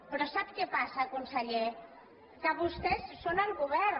però sap què passa conseller que vostès són el govern